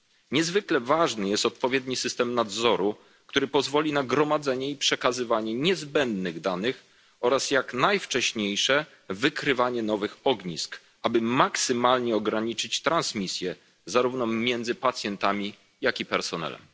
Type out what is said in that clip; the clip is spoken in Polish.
Niezwykle ważny jest odpowiedni system nadzoru, który pozwoli na gromadzenie i przekazywanie niezbędnych danych oraz jak najwcześniejsze wykrywanie nowych ognisk, aby maksymalnie ograniczyć transmisję zarówno między pacjentami, jak i personelem.